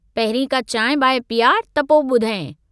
पहिरीं का चांहि-बांहि पियार त पोइ बुधायंइ।